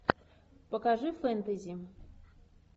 покажи фэнтези